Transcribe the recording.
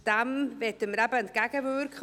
Dem wollen wir entgegenwirken.